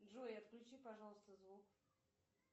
джой отключи пожалуйста звук